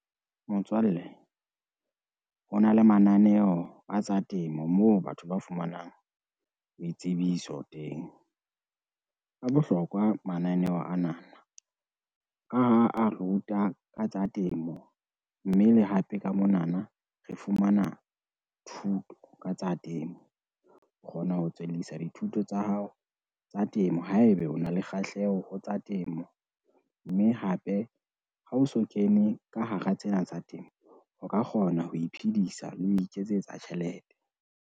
Motswalle, ho na le mananeo a tsa temo, moo batho ba fumanang ditsebiso teng. A bohlokwa mananeo anana, ka ha a ruta ka tsa temo, mme le hape ka monana re fumana thuto ka tsa temo. O kgona ho tswellisa dithuto tsa hao tsa temo haebe o na le kgahleho ho tsa temo, mme hape ha o so kene ka hara tsena tsa temo, o ka kgona ho iphidisa le ho iketsetsa tjhelete.